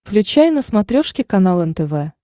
включай на смотрешке канал нтв